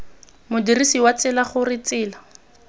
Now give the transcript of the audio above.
modirsi wa tsela gore tsela